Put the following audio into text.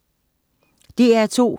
DR2: